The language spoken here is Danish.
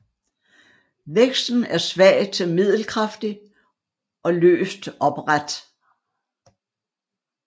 Væksten er svag til middelkraftig og løst opret